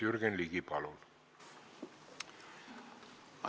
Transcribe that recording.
Jürgen Ligi, palun!